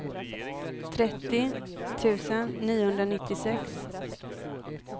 trettio tusen niohundranittiosex